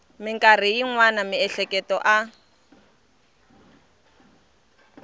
mikarhi yin wana miehleketo a